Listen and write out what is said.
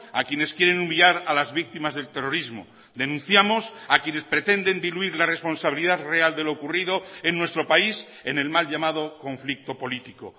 a quienes quieren humillar a las víctimas del terrorismo denunciamos a quienes pretenden diluir la responsabilidad real de lo ocurrido en nuestro país en el mal llamado conflicto político